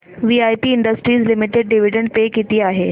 VIP industries limited dividend pay किती आहे